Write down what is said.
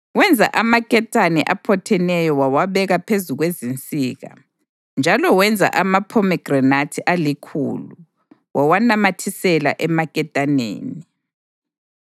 Wenza amaketane aphotheneyo wawabeka phezu kwezinsika. Njalo wenza amaphomegranathi alikhulu wawanamathisela emaketaneni.